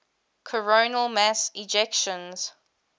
coronal mass ejections